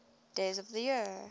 days of the year